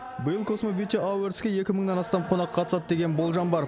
биыл космо бьюти авордске екі мыңнан астам қонақ қатысады деген болжам бар